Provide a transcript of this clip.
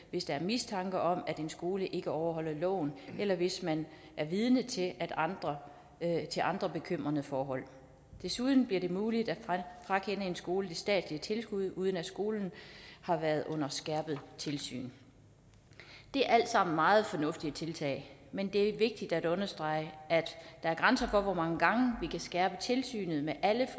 hvis der er mistanke om at en skole ikke overholder loven eller hvis man er vidne til andre til andre bekymrende forhold desuden bliver det muligt at frakende en skole det statslige tilskud uden at skolen har været under skærpet tilsyn det er alt sammen meget fornuftige tiltag men det er vigtigt at understrege at der er grænser for hvor mange gange vi kan skærpe tilsynet med alle